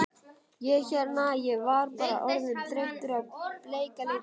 Ég hérna. ég var bara orðinn þreyttur á bleika litnum.